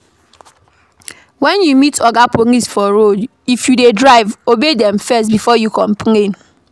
When you meet oga police for road if you dey drive, obey dem first before you complain